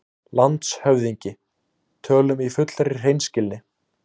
LANDSHÖFÐINGI: Tölum í fullri hreinskilni